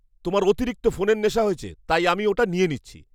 তোমার অতিরিক্ত ফোনের নেশা হয়েছে, তাই আমি ওটা নিয়ে নিচ্ছি।